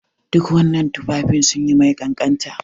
Duk wannan tufafin sun yi mai kanƙanta.